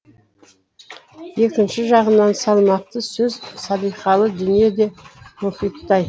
екінші жағынан салмақты сөз салиқалы дүние де мұхиттай